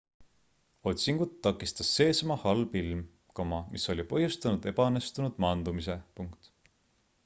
otsingut takistas seesama halb ilm mis oli põhjustanud ebaõnnestunud maandumise